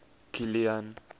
kilian